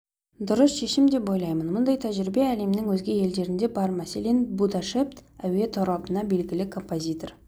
дұрыс шешім деп ойлаймын мұндай тәжірибе әлемнің өзге елдерінде бар мәселен будапешт әуе торабына белгілі композитор